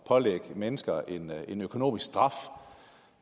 pålægge mennesker en økonomisk straf